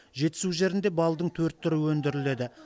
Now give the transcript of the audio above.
жетісу жерінде балдың төрт түрі өндіріледі